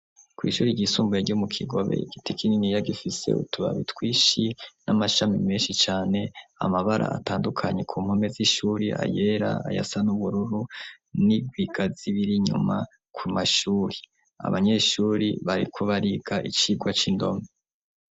Kw'ishuri igisumbuye ryo mu kigobe igiti kininiya gifise utubaba itwishi n'amashami menshi cane amabara atandukanyi ku npome z'ishuri ayera aya sa n'ubururu n'irwigazibiri inyuma ku mashuri abanyeshuri bari kubariga icirwa c'indoma.